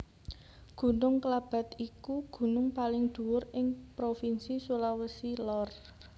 Gunung Klabat iku gunung paling dhuwur ing Provinsi Sulawesi Lor